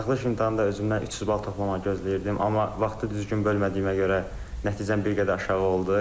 Buraxılış imtahanda özümdən 300 bal toplamağı gözləyirdim, amma vaxtı düzgün bölmədiyimə görə nəticəm bir qədər aşağı oldu.